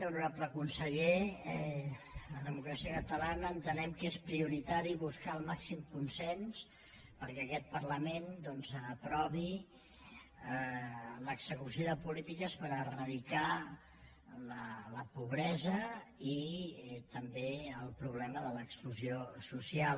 honorable conseller a democràcia catalana entenem que és prioritari buscar el màxim consens perquè aquest parlament aprovi l’execució de polítiques per eradicar la pobresa i també el problema de l’exclusió social